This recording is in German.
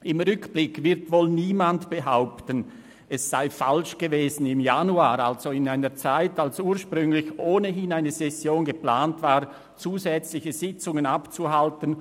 Im Rückblick wird wohl niemand behaupten, es sei falsch gewesen, im Januar – also zu einer Zeit, als ursprünglich ohnehin eine Session geplant war – zusätzliche Sitzungen abzuhalten.